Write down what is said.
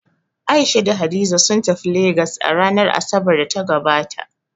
A'isha da Hadiza sun tafi Legas a ranar Asabar da ta gabata